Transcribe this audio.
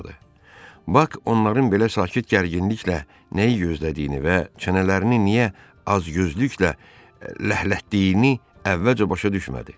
Bak onların belə sakit gərginliklə nəyi gözlədiyini və çənələrini niyə acgözlüklə ləhlətdiyini əvvəlcə başa düşmədi.